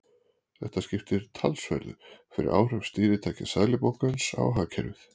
Þetta skiptir talsverðu fyrir áhrif stýritækja Seðlabankans á hagkerfið.